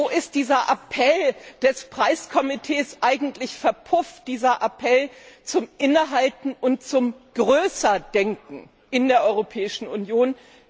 Wo ist dieser Appell des Preiskomitees eigentlich verpufft, dieser Appell zum Innehalten und zum Größer Denken in der Europäischen Union?